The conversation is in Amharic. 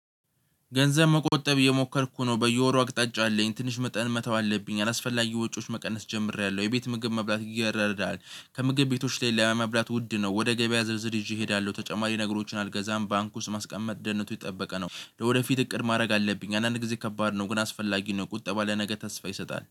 ገንዘብ መቆጠብ እየሞከርኩ ነው በየወሩ አቅጣጫ አለኝ ትንሽ መጠን መተው አለብኝ አላስፈላጊ ወጪዎች መቀነስ ጀምሬያለሁ የቤት ምግብ መብላት ይረዳል ከምግብ ቤቶች ላይ ለመብላት ውድ ነው ወደ ገበያ ዝርዝር ይዤ እሄዳለሁ ተጨማሪ ነገሮችን አልገዛም ባንኩ ውስጥ ማስቀመጥ ደህንነቱ ይጠበቀ ነው። ወደፊት እቅድ ማድረግ አለብኝ አንዳንድ ጊዜ ከባድ ነው ግን አስፈላጊ ነው። ቁጠባ ለነገ ተስፋ ይሰጣል